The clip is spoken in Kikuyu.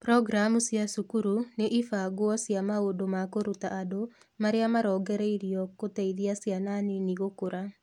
Programu cia cukuru nĩ ibangwo cia maũndũ ma kũruta andũ marĩa marongoreirio gũteithia ciana nini gũkũra.